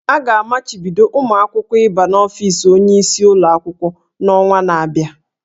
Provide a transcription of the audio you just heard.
A ga-amachibido ụmụ akwụkwọ ịba n'ofis onyeisi ụlọ akwụkwọ n'ọnwa na-abịa